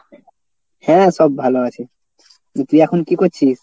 হ্যাঁ সব ভালো আছে। তুই কী এখন কী করছিস?